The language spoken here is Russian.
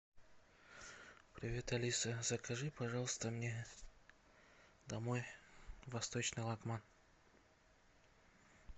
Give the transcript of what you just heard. привет алиса закажи пожалуйста мне домой восточный лагман